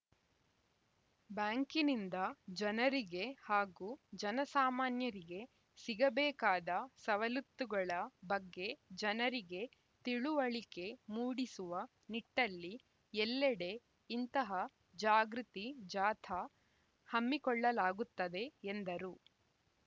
ಬ್ಯಾಂಕಿನಿಂದ ಜನರಿಗೆ ಹಾಗು ಜನ ಸಾಮಾನ್ಯರಿಗೆ ಸಿಗಬೇಕಾದ ಸವಲುತ್ತುಗಳ ಬಗ್ಗೆ ಜನರಿಗೆ ತಿಳುವಳಿಕೆ ಮೂಡಿಸುವ ನಿಟ್ಟಲ್ಲಿ ಎಲ್ಲೆಡೆ ಇಂತಹ ಜಾಗೃತಿ ಜಾಥಾ ಹಮ್ಮಿಕೊಳ್ಳಲಾಗುತ್ತದೆ ಎಂದರು